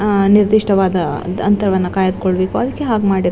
ಆ ನಿರ್ದಿಷ್ಟವಾದ ಅಂತ ಅಂತರವನ್ನು ಕಾಯ್ದು ಕೊಳ್ಳಬೇಕು ಅದಕ್ಕೆ ಹಾಗೆ ಮಾಡಿರ್ --